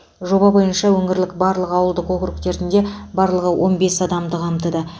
жоба бойынша өңірліқ барлық ауылдық округтерінде барлығы он бес адамды қамтыды